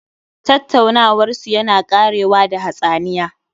Tattaunawarsu yana ƙarewa da hatsaniya